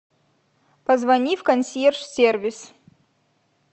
позвони в консьерж сервис